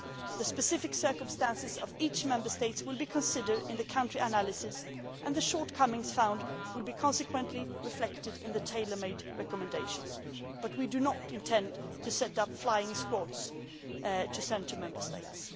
The specific circumstances of each Member State will be considered in the country analysis and the shortcomings found will subsequently be reflected in the tailor made recommendations, but we do not intend to set up flying squads to send to Member States.